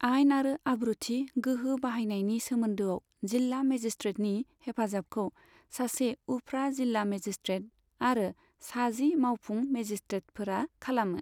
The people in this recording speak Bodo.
आइन आरो आब्रुथि गोहो बाहायनायनि सोमोन्दोआव जिल्ला मेजिसट्रेटनि हेफाजाबखौ सासे उफ्रा जिला मेजिसट्रेट आरो सा जि मावफुं मेजिसट्रेटफोरा खालामो।